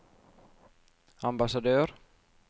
ambassadør